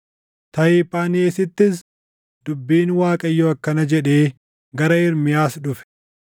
Tahiphaanheesittis dubbiin Waaqayyoo akkana jedhee gara Ermiyaas dhufe: